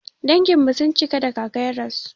Danginmu sun cika da kaka ya rasu.